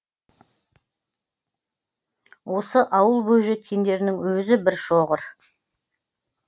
осы ауыл бойжеткендерінің өзі бір шоғыр